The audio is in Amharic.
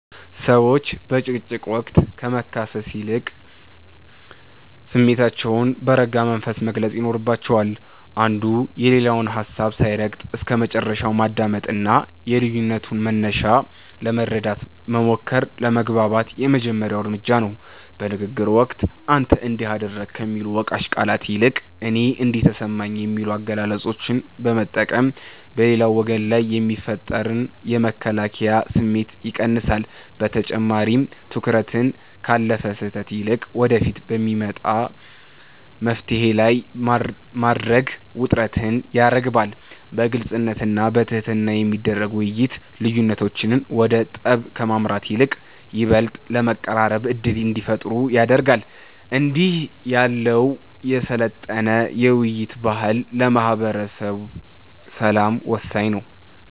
ሰዎች በጭቅጭቅ ወቅት ከመካሰስ ይልቅ ስሜታቸውን በረጋ መንፈስ መግለጽ ይኖርባቸዋል። አንዱ የሌላውን ሀሳብ ሳይረግጥ እስከመጨረሻው ማዳመጥና የልዩነቱን መነሻ ለመረዳት መሞከር ለመግባባት የመጀመሪያው እርምጃ ነው። በንግግር ወቅት "አንተ እንዲህ አደረግክ" ከሚሉ ወቃሽ ቃላት ይልቅ "እኔ እንዲህ ተሰማኝ" የሚሉ አገላለጾችን መጠቀም በሌላው ወገን ላይ የሚፈጠርን የመከላከያ ስሜት ይቀንሳል። በተጨማሪም፣ ትኩረትን ካለፈ ስህተት ይልቅ ወደፊት በሚመጣ መፍትሔ ላይ ማድረግ ውጥረትን ያረግባል። በግልጽነትና በትህትና የሚደረግ ውይይት፣ ልዩነቶች ወደ ጠብ ከማምራት ይልቅ ይበልጥ ለመቀራረብ ዕድል እንዲፈጥሩ ያደርጋል። እንዲህ ያለው የሰለጠነ የውይይት ባህል ለማህበረሰብ ሰላም ወሳኝ ነው።